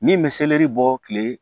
Min bɛ seleri bɔ tile